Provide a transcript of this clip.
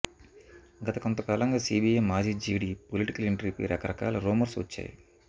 గత కొంతకాలంగా సీబీఐ మాజీ జేడీ పొలిటికల్ ఎంట్రీ పై రకరకాల రూమర్స్ వచ్చాయి